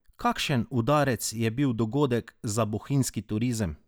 Kakšen udarec je bil dogodek za bohinjski turizem?